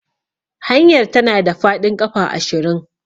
Hanyar tana da faɗin ƙafa ashirin.